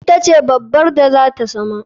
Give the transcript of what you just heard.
Ita ce babbar da zata zama.